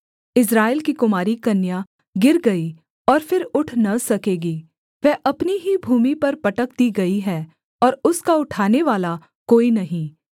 इस्राएल की कुमारी कन्या गिर गई और फिर उठ न सकेगी वह अपनी ही भूमि पर पटक दी गई है और उसका उठानेवाला कोई नहीं